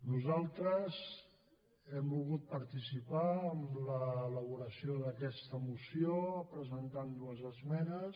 nosaltres hem volgut participar en l’elaboració d’aquesta moció presentant dues esmenes